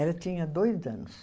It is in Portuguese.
Ela tinha dois anos.